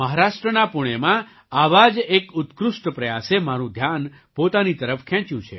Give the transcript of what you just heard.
મહારાષ્ટ્રના પૂણેમાં આવા જ એક ઉત્કૃષ્ટ પ્રયાસે મારું ધ્યાન પોતાની તરફ ખેંચ્યું છે